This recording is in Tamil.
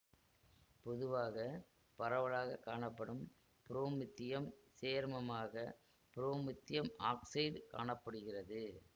பொதுவாக பரவலாக காணப்படும் புரோமித்தியம் சேர்மமாக புரோமித்தியம் ஆக்சைடு காண படுகிறது